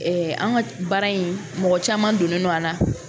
an ka baara in mɔgɔ caman donnen no a la.